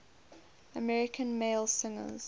american male singers